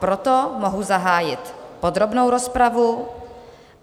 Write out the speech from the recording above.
Proto mohu zahájit podrobnou rozpravu.